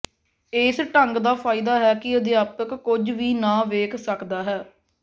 ਇਸ ਢੰਗ ਦਾ ਫਾਇਦਾ ਹੈ ਕਿ ਅਧਿਆਪਕ ਕੁਝ ਵੀ ਨਾ ਵੇਖ ਸਕਦਾ ਹੈ